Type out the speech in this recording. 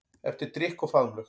Eftir drykk og faðmlög.